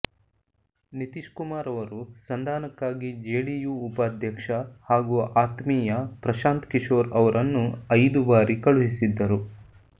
ನಿತೀಶ್ ಕುಮಾರ್ ಅವರು ಸಂಧಾನಕ್ಕಾಗಿ ಜೆಡಿಯು ಉಪಾಧ್ಯಕ್ಷ ಹಾಗೂ ಆತ್ಮೀಯ ಪ್ರಶಾಂತ್ ಕಿಶೋರ್ ಅವರನ್ನು ಐದು ಬಾರಿ ಕಳುಹಿಸಿದ್ದರು